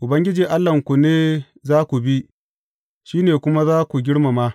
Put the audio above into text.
Ubangiji Allahnku ne za ku bi, shi ne kuma za ku girmama.